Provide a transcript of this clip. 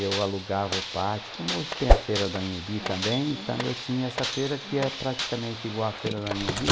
Eu alugava o pátio, como hoje tem a feira do Anhembi também, então eu tinha essa feira que é praticamente igual a feira da Anhembi.